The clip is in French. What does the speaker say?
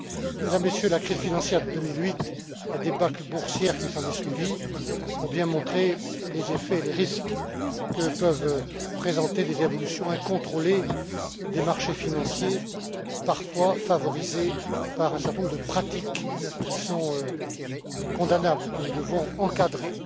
Mesdames, Messieurs, la crise financière de 2008 et la débâcle boursière qui a suivi ont bien montré les effets et les risques que peuvent présenter des évolutions incontrôlées des marchés financiers, parfois favorisées par un certain nombre de pratiques qui sont condamnables et que nous devons encadrer.